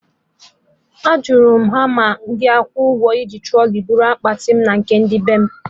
Ajụrụ m ha ma a ga-akwụ ụgwọ iji trọlị buru akpati mụ na ndị bem?